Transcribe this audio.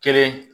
Kelen